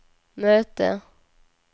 möte